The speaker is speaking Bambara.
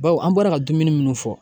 Bawo an bɔra ka dumuni minnu fɔ